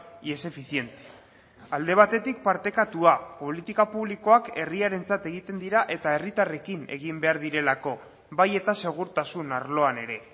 y es eficiente alde batetik partekatua politika publikoak herriarentzat egiten dira eta herritarrekin egin behar direlako bai eta segurtasun arloan ere